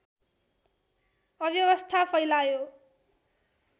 अव्यवस्था फैलायो